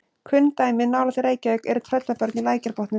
Kunn dæmi nálægt Reykjavík eru Tröllabörn í Lækjarbotnum.